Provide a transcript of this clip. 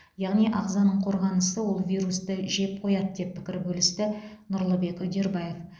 яғни ағзаның қорғанысы ол вирусты жеп қояды деп пікір бөлісті нұрлыбек үдербаев